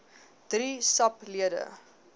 drie sap lede